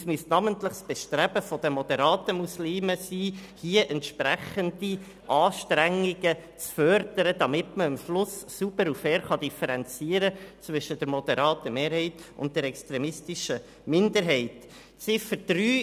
Es müsste namentlich das Bestreben der moderaten Muslime sein, entsprechende Anstrengungen zu fördern, damit man am Schluss sauber und fair zwischen der moderaten Mehrheit und der extremistischen Minderheit differenzieren kann.